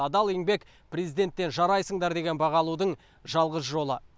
адал еңбек президенттен жарайсыңдар деген баға алудың жалғыз жолы